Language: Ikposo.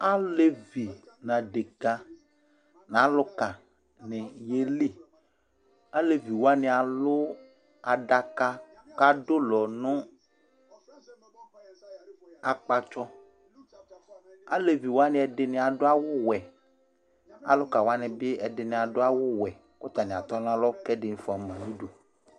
Alevi ŋu aɖeke ŋu aluka ni yeliAlɛvi waŋi alu aɖaka kʋ aɖulɔ ŋu akpatsɔ Aleviwani ɛɖìní aɖu awu wɛ Alukawani bi ɛɖìní aɖu awu wɛ kʋ ataŋi atɔ ŋu alɔ kʋ ɛɖìní fʋama ŋu ʋdu